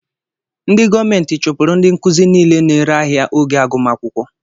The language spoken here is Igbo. Ndị gọọmenti chụpụrụ ndị nkụzi nile na-ere ahịa oge agụmakwụkwọ